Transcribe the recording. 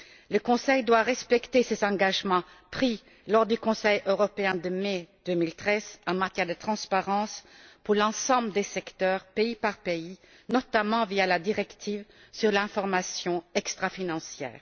Le Conseil doit respecter ses engagements pris lors du Conseil européen de mai 2013 en matière de transparence, pour l'ensemble des secteurs, pays par pays, notamment via la directive sur l'information extrafinancière.